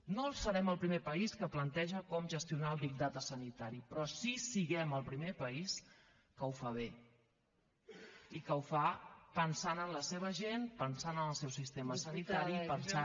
no serem el primer país que planteja com gestionar el big data sanitari però sí que siguem el primer país que ho fa bé i que ho fa pensant en la seva gent pensant en el seu sistema sanitari pensant